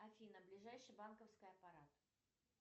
афина ближайший банковский аппарат